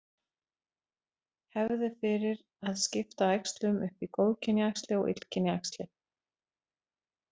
Hefð er fyrir að skipta æxlum upp í góðkynja æxli og illkynja æxli.